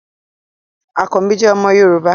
Àkanbí jẹ́ omo Yorùbá